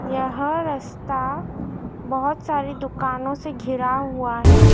यह रस्ता बहुत सारी दुकानों से घिरा हुआ है।